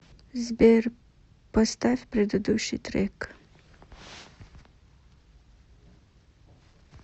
сбер поставь предыдущий трек